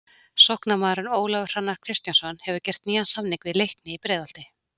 Sóknarmaðurinn Ólafur Hrannar Kristjánsson hefur gert nýjan samning við Leikni í Breiðholti.